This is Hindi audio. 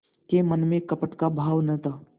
के मन में कपट का भाव न था